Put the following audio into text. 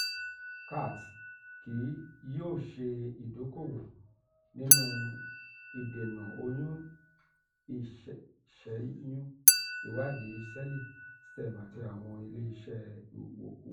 cath kii yoo ṣe idoko-owo ninu idena oyun iṣẹyun iwadii sẹẹli stem ati awọn ile-iṣẹ iwokuwo.